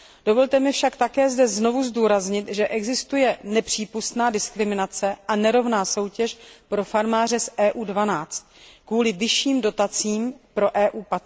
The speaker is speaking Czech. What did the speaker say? Dovolte mi však také zde znovu zdůraznit, že existuje nepřípustná diskriminace a nerovná soutěž pro farmáře z EU 12 kvůli vyšším dotacím pro EU